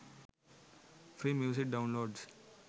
free music downloads